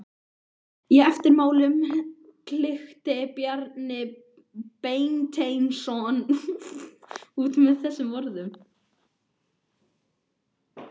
Í eftirmálanum klykkti Bjarni Beinteinsson út með þessum orðum